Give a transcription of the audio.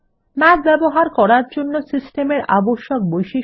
math ব্যবহার করার জন্য সিস্টেমের আবশ্যক বৈশিষ্ট্য